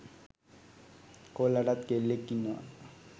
කොල්ලටත් කෙල්ලෙක් ඉන්නවා.